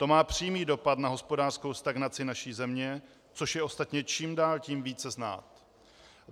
To má přímý dopad na hospodářskou stagnaci naší země, což je ostatně čím dál tím více znát.